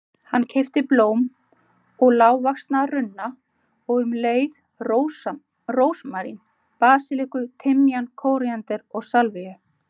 Hann keypti blóm og lágvaxna runna og um leið rósmarín, basilíku, timjan, kóríander og salvíu.